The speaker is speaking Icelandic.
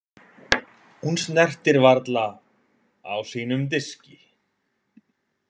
Hún snertir varla á sínum diski.